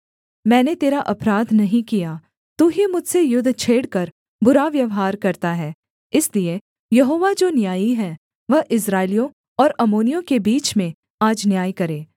मैंने तेरा अपराध नहीं किया तू ही मुझसे युद्ध छेड़कर बुरा व्यवहार करता है इसलिए यहोवा जो न्यायी है वह इस्राएलियों और अम्मोनियों के बीच में आज न्याय करे